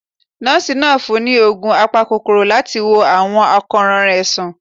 Nọ́ọ̀sì naa fún ni òògùn àpákokoró latí wò awọn akoran rẹ sàn